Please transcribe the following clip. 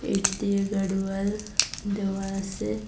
এটি দিয়ে গাড়ওয়াল দেওয়া আছে।